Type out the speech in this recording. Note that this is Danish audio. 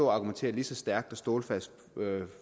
og argumentere lige så stærkt og stålfast